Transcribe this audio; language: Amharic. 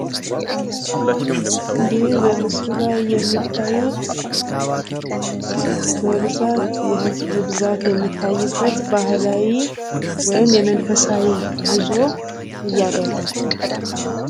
ይህ በምስሉ ላይ የሚታዩት በብዛት የህዝብ ብዛት የሚታይበት ባህላዊ ወይም የመንፈሳዊ ጉዞ እያደረጉ ነው።